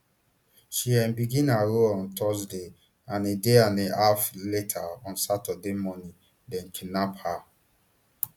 she um begin her role on thursday and a day and a half later on saturday morning dem kidnap her